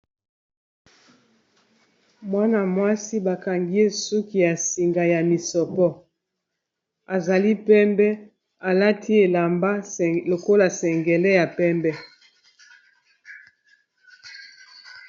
Mwana-mwasi bakangi ye suki ya singa ya misopo azali pembe alati elamba lokola sengele ya pembe.